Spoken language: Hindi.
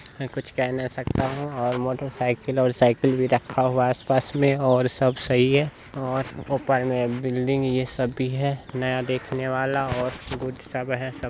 में कुछ कह नही सकता हूं और मोटरसाइकिल और साइकिल भी रखा हुआ है आस पास में और सब सही है और वो उप्पर में बिल्डिंग ये सब भी है नया देखने वाला और गुड सब है सब--